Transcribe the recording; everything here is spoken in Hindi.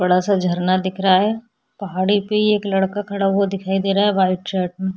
बड़ा सा झरना दिख रहा है पहाड़ी पे ही एक लड़का खड़ा हुआ दिखाई दे रहा है व्हाइट शर्ट मे--